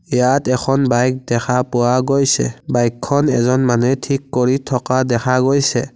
ইয়াত এখন বাইক দেখা পোৱা গৈছে বাইকখন এখন মানুহে থিক কৰি থকা দেখা গৈছে।